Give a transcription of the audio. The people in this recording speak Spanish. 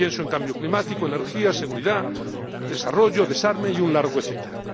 Pienso en cambio climático, energía, seguridad, desarrollo, desarme y un largo etcétera.